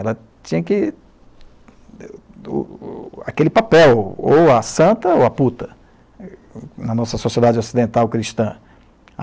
Ela tinha que, o o aquele papel, ou a santa ou a puta, na nossa sociedade ocidental cristã.